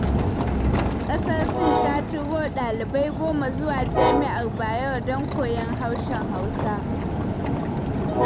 Ƙasar Sin ta turo ɗalibai 10 zuwa jami'ar Bayero don koyon harshen Hausa.